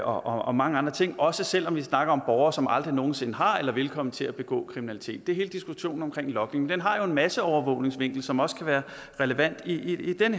og mange andre ting også selv om vi snakker om borgere som aldrig nogen sinde har begået eller vil komme til at begå kriminalitet det er hele diskussionen om logning og den har jo en masseovervågningsvinkel som også kan være relevant i den